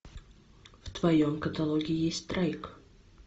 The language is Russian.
в твоем каталоге есть страйк